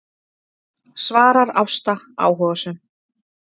svarar Ásta áhugasöm.